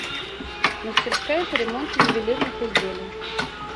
мастерская по ремонту ювелирных изделий